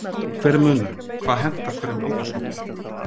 Hver er munurinn, hvað hentar hverjum aldurshópi?